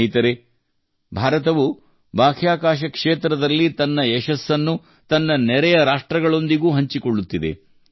ಸ್ನೇಹಿತರೇ ಭಾರತವು ಬಾಹ್ಯಾಕಾಶ ಕ್ಷೇತ್ರದಲ್ಲಿ ತನ್ನ ಯಶಸ್ಸನ್ನು ತನ್ನ ನೆರೆಯ ರಾಷ್ಟ್ರಗಳೊಂದಿಗೂ ಹಂಚಿಕೊಳ್ಳುತ್ತಿದೆ